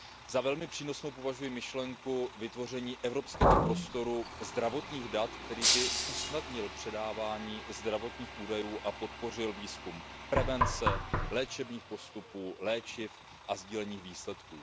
Za velmi přínosnou považuji myšlenku vytvoření evropského prostoru zdravotních dat, který by usnadnil předávání zdravotních údajů a podpořil výzkum prevence, léčebných postupů, léčiv a sdílených výsledků.